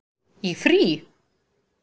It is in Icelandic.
Í frí?